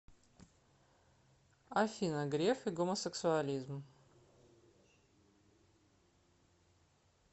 афина греф и гомосексуализм